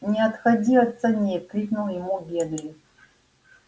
не отходи от саней крикнул ему генри